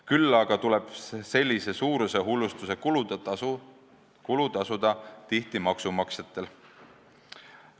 Küll aga tuleb sellise suurushullustuse kulu tasuda tihti maksumaksjatel.